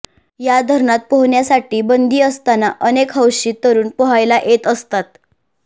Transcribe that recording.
या धरणात पोहण्यासाठी बंदी असताना अनेक हौशी तरुण पोहायला येत असतात